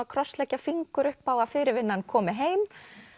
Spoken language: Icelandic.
krossleggja fingur upp á að fyrirvinnan komi heim